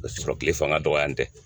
O b'a sɔrɔ tile fanga dɔgɔya n tɛ.